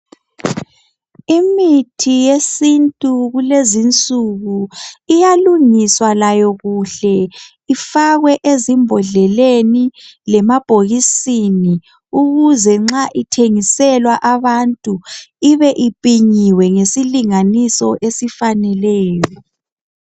Imithi yesintu kulezi insuku iyalungiswa layo kuhle ifakwe ezimbodleleni lemabhokisini ukuze nxa ithengiselwa abantu ibe ipinyiwe isilinganiso esifaneleyo.